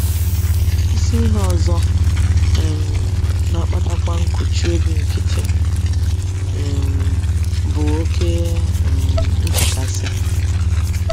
Isi ihe ọzọ um na - akpatakwa nkụchi obi nkịtị um bụ oké um nchekasị.